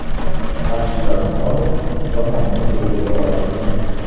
Yaxshilarni olib, yomonni o‘rgata olamizmi?